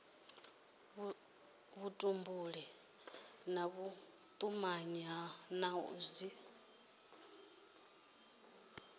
vhutumbuli na vhutumanyi na dzi